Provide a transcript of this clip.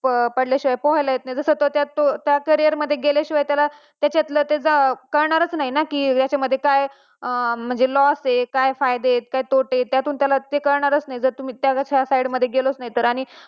पाहिले तर त्यात स्वतः त्यात त्या career मध्ये गेल्याशिवाय त्याच्यातल्या कळणारच नाही ना की याच्या मध्ये काय म्हणजे loss का फायदे आहेत तोटे आहेत त्याला ते कळणारच नाही जर तुम्ही त्या side मध्ये गेलोच नाही तर